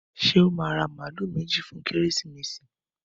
Ṣé ó máa ra màálù méjì fún Kérésìmesì?